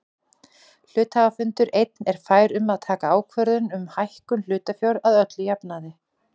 Hluthafafundur einn er fær um að taka ákvörðun um hækkun hlutafjár að öllum jafnaði.